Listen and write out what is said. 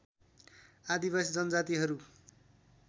आदिवासी जनजातिहरू